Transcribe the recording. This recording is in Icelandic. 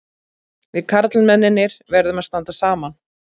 Við karlmennirnir verðum að standa saman.